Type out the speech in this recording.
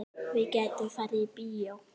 Við gætum farið í bíó.